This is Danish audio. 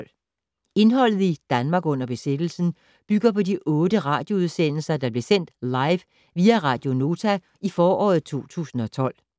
Indholdet i "Danmark under besættelsen" bygger på de otte radioudsendelser, der blev sendt live via Radio Nota i foråret 2012: